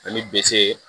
Ani b